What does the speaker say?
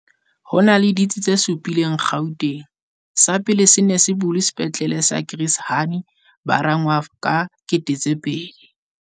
Ho na le ditsi tse supileng Gauteng. Sa pele se ne se bulwe Sepetlele sa Chris Hani Baragwanath ka 2000.